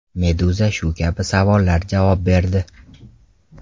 Meduza shu kabi savollar javob berdi .